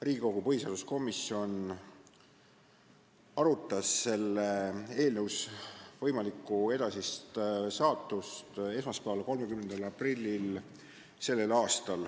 Riigikogu põhiseaduskomisjon arutas selle eelnõu võimalikku edasist saatust esmaspäeval, 30. aprillil.